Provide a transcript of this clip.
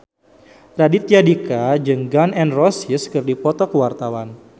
Raditya Dika jeung Gun N Roses keur dipoto ku wartawan